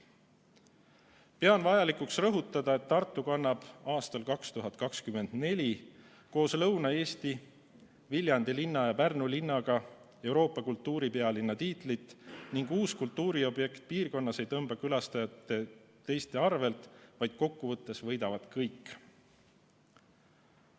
Pean vajalikuks rõhutada, et Tartu kannab aastal 2024 koos Lõuna-Eesti, Viljandi linna ja Pärnu linnaga Euroopa kultuuripealinna tiitlit ning uus kultuuriobjekt piirkonnas ei tõmba külastajaid ära teistelt, vaid kokkuvõttes võidavad kõik.